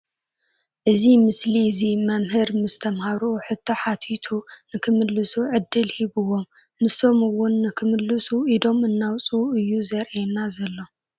እዚ ምስሊ እዚ መምህር ምስ ተምሃሩኡ ሕቶ ሓቲቱ ንክምልሱ ዕድል ሂብዎም ንሶም እውን ንክምልሱ ኢዶም እናዉፁ እዩ ዘርእየና ዘሎ ።